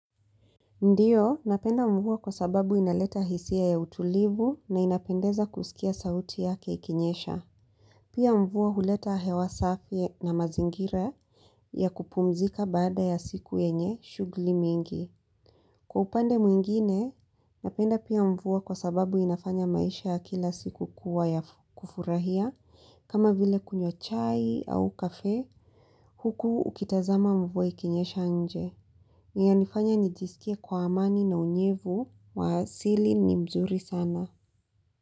Ndiyo, napenda mvua kwa sababu inaleta hisia ya utulivu na inapendeza kusikia sauti yake ikinyesha. Pia mvua huleta hewa safi na mazingira ya kupumzika bada ya siku yenye shugli mingi. Kwa upande mwingine, napenda pia mvua kwa sababu inafanya maisha ya kila siku kuwa ya kufurahia kama vile kunywa chai au kafee huku ukitazama mvua ikinyesha nje. Inanifanya nijisikie kuwa amani na unyevu wa asili ni mzuri sana.